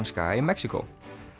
skaga í Mexíkó